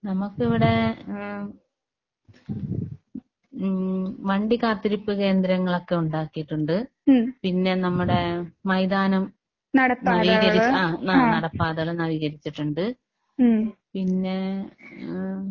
നമുക്ക് ഇവിടെ ഏഹ് ഉം വണ്ടി കാത്തിരുപ്പ് കേന്ദ്രങ്ങളൊക്കെ ഉണ്ടാക്കിയിട്ടുണ്ട്, പിന്നെ നമ്മുടെ മൈതാനം നവീകരിച്ച ആഹ് നടപ്പാതകള് നവീകരിച്ചിട്ടുണ്ട്, പിന്നെ ഏഹ്